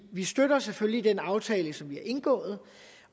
vi støtter selvfølgelig den aftale som vi har indgået